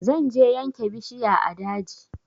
Zan je yanke bishiya a daji